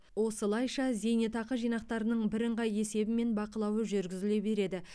осылайша зейнетақы жинақтарының бірыңғай есебі мен бақылауы жүргізіле береді